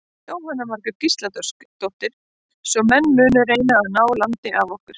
Jóhanna Margrét Gísladóttir: Svo menn munu reyna að ná landi af okkur?